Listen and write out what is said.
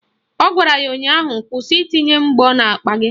Ọ gwara ya ụnyaahụ " Kwụsị itinye mgbọ n'akpa gị"!